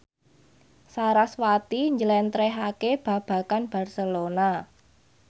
sarasvati njlentrehake babagan Barcelona